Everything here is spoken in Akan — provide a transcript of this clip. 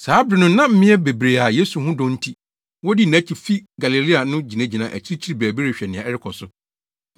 Saa bere no na mmea bebree a Yesu ho dɔ nti, wodii nʼakyi fii Galilea no gyinagyina akyiri baabi rehwɛ nea ɛrekɔ so.